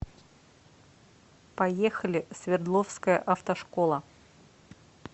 поехали свердловская автошкола